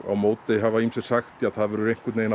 á móti hafa ýmsir sagt það verða einhverjir að